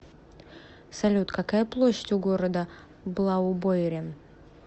салют какая площадь у города блаубойрен